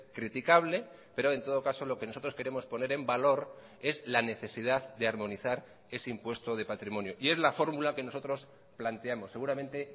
criticable pero en todo caso lo que nosotros queremos poner en valor es la necesidad de armonizar ese impuesto de patrimonio y es la fórmula que nosotros planteamos seguramente